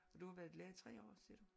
Og du har været lærer i 3 år siger du?